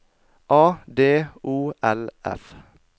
A D O L F